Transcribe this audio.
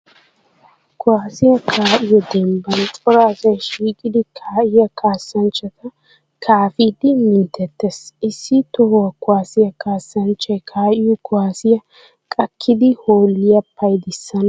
Kuwasiya kaa'iyo dembban cora asay shiiqiddi kaa'iyaa kaassanchchata kaafidde minttettees. Issi toho kuwasiya kaassanchchay kaa'iyo kuwasiya qakkiddi hoolliya payddissana hanees.